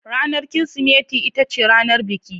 Ranar Kirsimeti ita ce ranar biki.